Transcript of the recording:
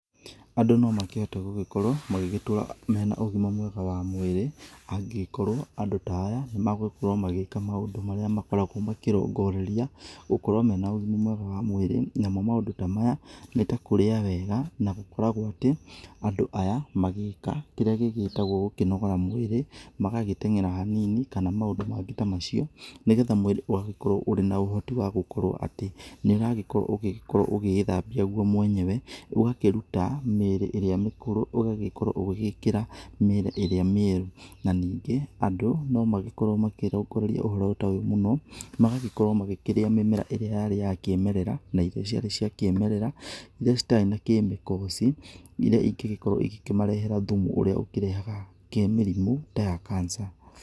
Andũ no makĩhote gũgĩkorwo magĩgĩtũra mena ũgĩma mwega wa mwĩrĩ, angĩgĩkorwo andũ ta aya nĩ magũgĩkorwo magĩgĩka maũndũ marĩa magĩkoragwo makĩrongoreria gũkorwo wĩna ũgĩma mwega wa mwĩrĩ. Namo maũndũ ta maya, nĩ ta kũrĩa wega, na gũkoragwo ati, andũ aya magĩka kĩrĩa gĩgĩtagwo gũkĩnogora mwĩrĩ, magagĩtengera hanini, kana maũndũ mangĩ ta macio, nĩgetha mwĩrĩ ũgagĩkorwo ũrĩ na ũhoti wa gũkorwo atĩ nĩ ũragĩkorwo ũgĩgĩkorwo ũgĩĩthambia gũo mwenyewe ,ũgakĩruta mĩĩrĩ ĩrĩa mĩkũrũ, ũgagĩkorwo ũgĩgĩkĩra mĩĩrĩ ĩrĩa mĩerũ. Na ningĩ andũ no magĩkorwo makĩrongoreria ũhoro ta ũyũ mũno, magagĩkorwo magĩkĩrĩa mĩmera ĩrĩa yarĩ ya kĩmerera, na irio ciarĩ cia kĩmerera irĩa citarĩ na chemicals, irĩa ingĩgĩkorwo igĩkĩmarehera thumu ũrĩa ũkĩrehaga mĩrimũ ta kanja.